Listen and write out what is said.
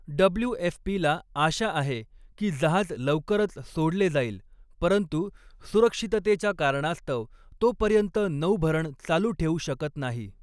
डब्लू.एफ.पी.ला आशा आहे की जहाज लवकरच सोडले जाईल, परंतु सुरक्षिततेच्या कारणास्तव तोपर्यंत नौभरण चालू ठेवू शकत नाही.